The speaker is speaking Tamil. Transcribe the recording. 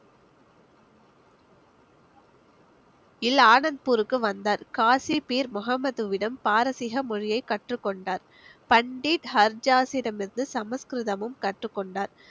~ல் ஆனந்த்பூருக்கு வந்தார் காசி பீர் முஹம்மதுவிடம் பாரசீக மொழியை கற்றுக் கொண்டார் பண்டித் ஹர்ஜாஸிடமிருந்து சமஸ்கிருதமும் கற்றுக்கொண்டார்